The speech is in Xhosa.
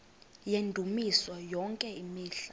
yendumiso yonke imihla